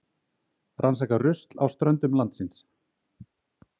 Rannsaka rusl á ströndum landsins